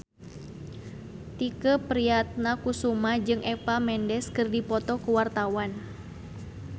Tike Priatnakusuma jeung Eva Mendes keur dipoto ku wartawan